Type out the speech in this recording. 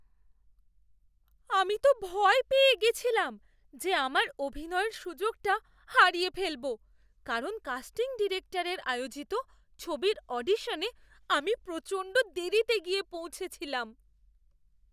আমি তো ভয় পেয়ে গেছিলাম যে আমার অভিনয়ের সুযোগটা হারিয়ে ফেলব কারণ কাস্টিং ডিরেক্টরের আয়োজিত ছবির অডিশনে আমি প্রচণ্ড দেরিতে গিয়ে পৌঁছেছিলাম!